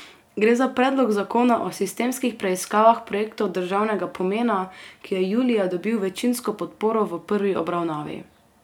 Gre za predlog zakona o sistemskih preiskavah projektov državnega pomena, ki je julija dobil večinsko podporo v prvi obravnavi.